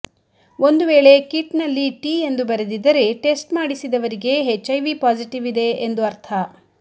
ಒಂದು ವೇಳೆ ಕಿಟ್ನಲ್ಲಿ ಟಿ ಎಂದು ಬರೆದಿದ್ದರೆ ಟೆಸ್ಟ್ ಮಾಡಿಸಿದವರಿಗೆ ಎಚ್ಐವಿ ಪಾಸಿಟಿವ್ ಇದೆ ಎಂದು ಅರ್ಥ